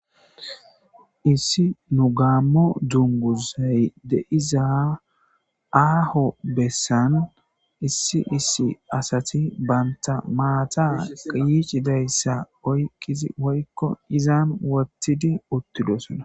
Issi nu gaammo dunguzay deiza aaho bessan issi issi asati banta maata qiicidayssa oyqizi woykko izan wottidi uttidosona.